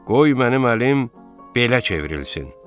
Qoy mənim əlim belə çevrilsin.